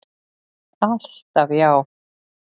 Alltaf já.